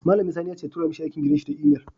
Mallamun sani yace ya tura mai aikin gidan shi ta Email